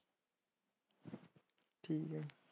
ਠੀਕ ਆ।